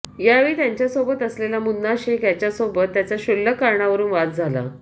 यावेळी त्यांच्यासोबत असलेल्या मुन्ना शेख याच्यासोबत त्यांचा क्षुल्लक कारणावरुन वाद झाला